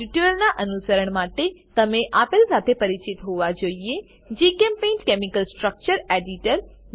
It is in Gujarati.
આ ટ્યુટોરીયલનાં અનુસરણ માટે તમે આપેલ સાથે પરિચિત હોવા જોઈએ જીચેમ્પેઇન્ટ કેમિકલ સ્ટ્રકચર એડિટર